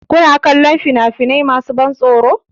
Kuna kallon fina-finai masu ban tsoro?